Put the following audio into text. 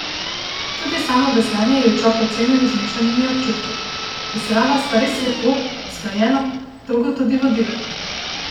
Tudi samo veslanje je Čop ocenil z mešanimi občutki: "Veslala sva res lepo, usklajeno, dolgo tudi vodila.